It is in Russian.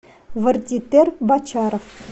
вардитер бочаров